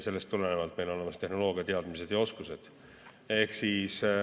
Sellest tulenevalt on meil olemas tehnoloogia, teadmised ja oskused.